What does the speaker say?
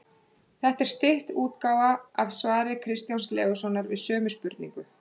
Þetta er stytt útgáfa af svari Kristjáns Leóssonar við sömu spurningu.